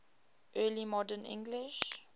early modern english